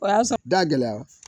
O y'a sɔrɔ da gɛlɛyara